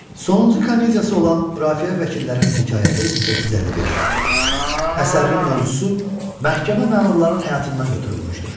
Sonuncu komediyası olan Mürafiə Vəkillərinin hekayəti (1855) əsərinin mövzusu məhkəmə məmurlarının həyatından götürülmüşdür.